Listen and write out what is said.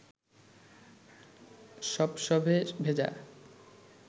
সপসপে ভেজা